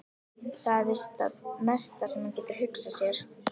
Það er víst það mesta sem hann getur hugsað sér.